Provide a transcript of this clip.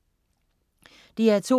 DR2: